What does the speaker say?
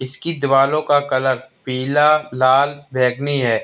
इसकी दीवारों का कलर पीला लाल बैंगनी है।